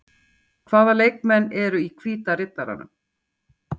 Hvaða leikmenn eru í Hvíta Riddaranum?